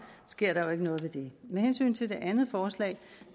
sker der jo ikke noget ved det med hensyn til det andet forslag